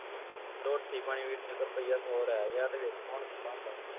ਰੋਟੀ ਪਾਣੀ ਵੀਰ ਰੁਪਇਆ ਸੌ ਰਹਿ ਗਿਆ ਹੈ ਤੇ ਵੇਖੋ ਹੁਣ ਕੀ ਬਣਦਾ ਹੈ